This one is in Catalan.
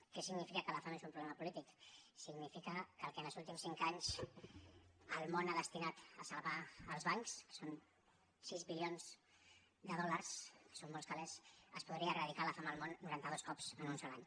què signifi·ca que la fam és un problema polític significa que amb el que en els últims cinc anys el món ha destinat a salvar els bancs que són sis bilions de dòlars que són molts calés es podria eradicar la fam al món noranta·dos cops en un sol any